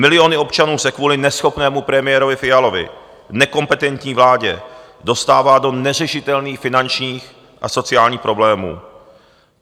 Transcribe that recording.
Miliony občanů se kvůli neschopnému premiérovi Fialovi, nekompetentní vládě dostává do neřešitelných finančních a sociálních problémů.